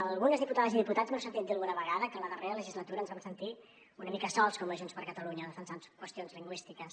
algunes diputades i diputats m’heu sentit dir alguna vegada que en la darrera legislatura ens vam sentir una mica sols com a junts per catalunya defensant qüestions lingüístiques